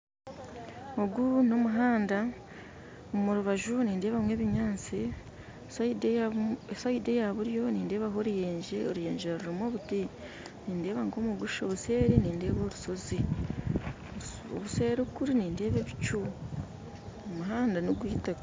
Ogu n'omuhanda, omu rubaju nindeebamu ebinyaatsi saidi eya saidi eya buryo nindeebaho oruyenje oruyenje rurimu obuti nindeeba nk'omugusha obuseeri nindeeba orushozi obuseeri kuri nindeeba ebicu omuhanda n'ogw'eitaka